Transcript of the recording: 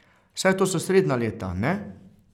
Saj to so srednja leta, ne?